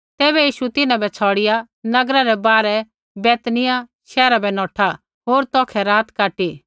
तैबै यीशु तिन्हां बै छ़ौड़िआ नगरा रै बाहरै बैतनिय्याह शैहरा बै नौठा होर तौखै रात काटी